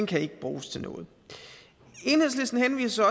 kan ikke bruges til noget enhedslisten henviser